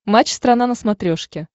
матч страна на смотрешке